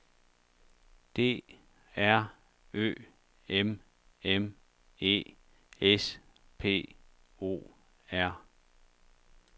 D R Ø M M E S P O R